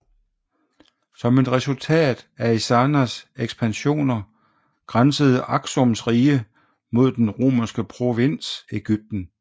Som et resultat af Ezanas ekspansioner grænsede Aksums rige mod den romerske provins Egypten